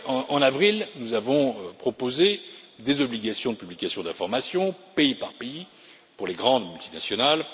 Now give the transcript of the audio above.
En avril, nous avons proposé des obligations de publication d'informations, pays par pays, pour les grandes multinationales.